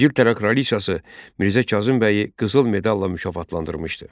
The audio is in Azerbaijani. İngiltərə Kraliçası Mirzə Kazım bəyi qızıl medalla mükafatlandırmışdı.